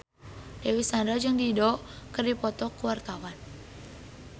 Dewi Sandra jeung Dido keur dipoto ku wartawan